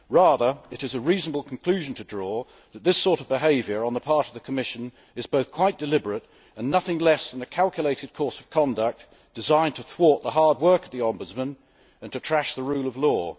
Rather, it is a reasonable conclusion to draw that this sort of behaviour on the part of the Commission is both quite deliberate and nothing less than a calculated course of conduct designed to thwart the hard work of the Ombudsman and to trash the rule of law.